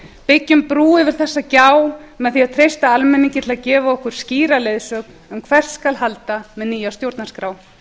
byggjum brú yfir þessa gjá með því að treysta almenningi til að gefa okkur skýra leiðsögn um hvert skal halda með nýja stjórnarskrá